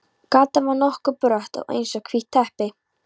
Gatan var nokkuð brött og eins og hvítt teppi.